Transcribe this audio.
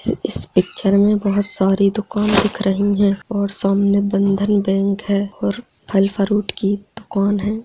इस पिक्चर में बहुत सारे दूकान दिख रही है और सामने बंधन बैंक है और फल फ्रूट की दूकान है।